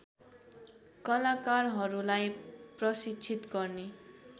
कलाकारहरूलाई प्रशिक्षित गर्ने